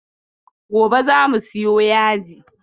Gobe za mu siyo yaji.